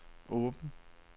åben